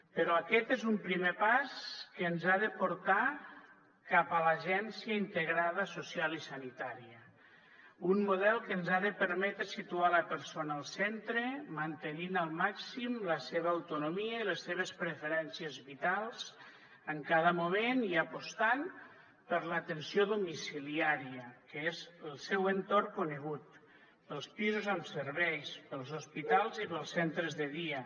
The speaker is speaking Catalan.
però aquest és un primer pas que ens ha de portar cap a l’agència integrada social i sanitària un model que ens ha de permetre situar la persona al centre mantenint al màxim la seva autonomia i les seves preferències vitals en cada moment i apostant per l’atenció domiciliària que és el seu entorn conegut pels pisos amb serveis pels hospitals i pels centres de dia